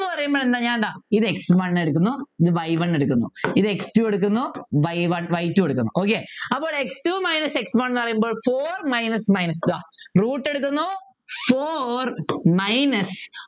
പറയുമ്പോലെന്താ ഇത് x one എടുക്കുന്നു ഇത് y one എടുക്കുന്നു ഇത് x two എടുക്കുന്നു y one y two എടുക്കുന്നു okay അപ്പോൾ x two minus x one ന്നു പറയുമ്പോൾ four minus minus ഇതാ root എടുക്കുന്നു four minus